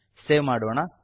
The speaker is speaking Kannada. ಸೇವ್ ಮಾಡೋಣ